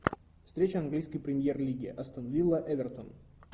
встреча английской премьер лиги астон вилла эвертон